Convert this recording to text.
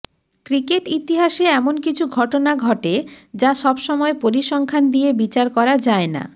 cricket ইতিহাসে এমন কিছু ঘটনা ঘটে যা সবসময় পরিসংখ্যান দিয়ে বিচার করা যায় না